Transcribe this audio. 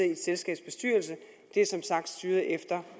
i et selskabs bestyrelse det er som sagt styret efter